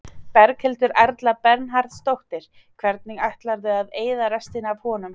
Berghildur Erla Bernharðsdóttir: Hvernig ætlarðu að eyða restinni af honum?